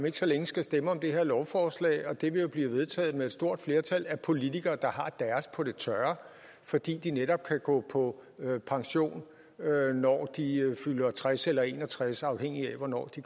ikke så længe stemme om det her lovforslag og det vil jo blive vedtaget med et stort flertal af politikere der har deres på det tørre fordi de netop kan gå på pension når de fylder tres eller en og tres afhængigt af hvornår de